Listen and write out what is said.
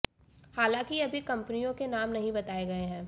हालांकि अभी कंपनियों के नाम नहीं बताए गए हैं